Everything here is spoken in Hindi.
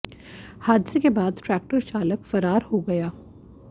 हादसे के बाद ट्रैक्टर चालक फरार हो गया